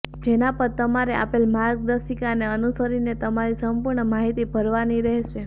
જેના પર તમારે આપેલ માર્ગદર્શિકાને અનુસરીને તમારી સંપૂર્ણ માહિતી ભરવાની રહેશે